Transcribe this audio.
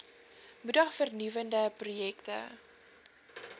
moedig vernuwende projekte